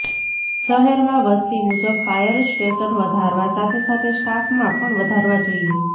શહેરમા વસ્તી મુજબ fire station વધારવા સાથે સાથે સ્ટાફમાં પણ વધારવા જોઈએ